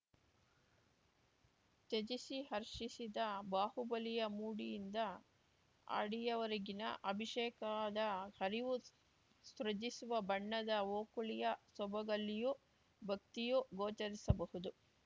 ತ್ಯಜಿಸಿ ಹರ್ಷಿಸಿದ ಬಾಹುಬಲಿಯ ಮುಡಿಯಿಂದ ಅಡಿಯವರೆಗಿನ ಅಭಿಷೇಕದ ಹರಿವು ಸೃಜಿಸುವ ಬಣ್ಣದ ಓಕುಳಿಯ ಸೊಬಗಲ್ಲಿಯೂ ಭಕ್ತಿಯು ಗೋಚರಿಸಬಹುದು